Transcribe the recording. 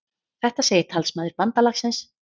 Þetta segir talsmaður bandalagsins